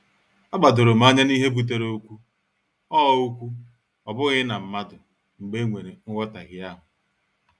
A gbadorom anya n'ihe butere okwu, ọ okwu, ọ bụghị na mmadụ, mgbe e nwere nhotahio ahụ.